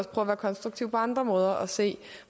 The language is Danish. at være konstruktive på andre måder og se